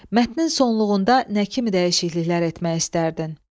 Mətnin sonluğunda nə kimi dəyişikliklər etmək istərdin?